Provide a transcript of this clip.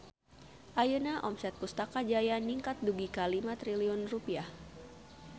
Ayeuna omset Pustaka Jaya ningkat dugi ka 5 triliun rupiah